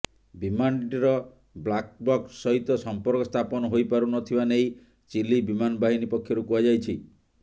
ବିମାନଟିର black box ସହିତ ସମ୍ପର୍କ ସ୍ଥାପନ ହୋଇପାରୁନଥିବା ନେଇ ଚିଲି ବିମାନ ବାହିନୀ ପକ୍ଷରୁ କୁହାଯାଇଛି